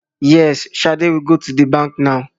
Yes, Shade will go to the bank now